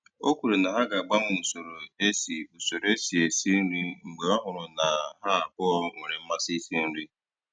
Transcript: O kwere na ha ga-agbanwe usoro e si usoro e si esi nri mgbe ọ hụrụ na ha abụọ nwere mmasị isi nri.